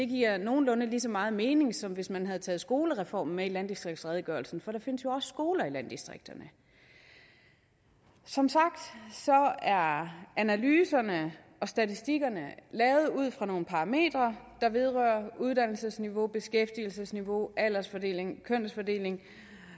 giver nogenlunde lige så meget mening som hvis man havde taget skolereformen med i landdistriktsredegørelsen for der findes jo også skoler i landdistrikterne som sagt er analyserne og statistikkerne lavet ud fra nogle parametre der vedrører uddannelsesniveau beskæftigelsesniveau aldersfordeling kønsfordeling